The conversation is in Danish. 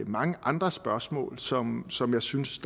mange andre spørgsmål som som jeg synes